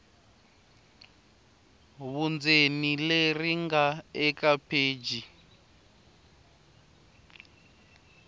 vundzeni leri nga eka pheji